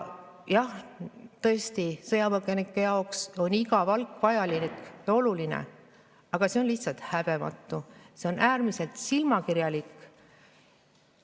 Jah, tõesti, sõjapõgenike jaoks on igasugune palk vajalik ja oluline, aga see on lihtsalt häbematu, see on äärmiselt silmakirjalik.